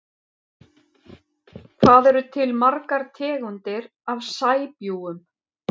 Hvað eru til margar tegundir af sæbjúgum?